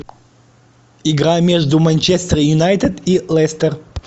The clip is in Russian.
игра между манчестер юнайтед и лестер